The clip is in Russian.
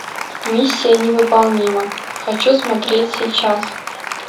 миссия невыполнима хочу смотреть сейчас